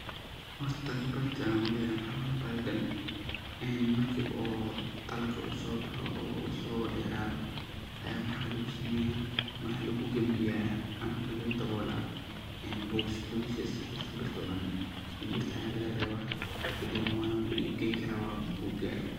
Horta qibrada ad uleyahay waxa waye bahalka marki oo dalaga soboxo ama soderado aya waxa lugusameya waxa lugugambiya amaba lugudawola bogosyo sifa shimbirta ucunin, shimbirta aya lagarewa kadibna wala iib geyni kara wa ku iib gala.